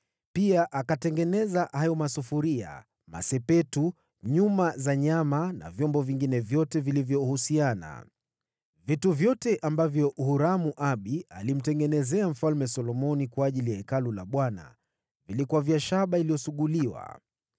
pia hayo masufuria, masepetu, uma za nyama na vyombo vingine vyote vilivyohusiana. Vitu vyote ambavyo Huramu-Abi alimtengenezea Mfalme Solomoni kwa ajili ya Hekalu la Bwana vilikuwa vya shaba iliyosuguliwa.